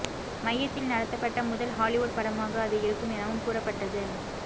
மையத்தில் நடத்தப்பட்ட முதல் ஹாலிவுட் படமாக அது இருக்கும் எனவும் கூறப்பட்டது